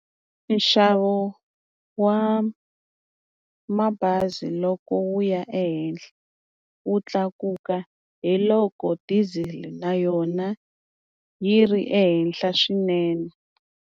Nxavo wa mabazi loko wu ya ehenhla wu tlakuka hi loko diesel na yona yi ri ehenhla swinene.